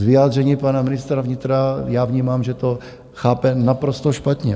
Z vyjádření pana ministra vnitra já vnímám, že to chápe naprosto špatně.